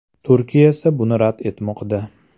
Turkiya esa buni rad etmoqda.